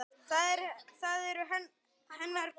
Það eru hennar konur.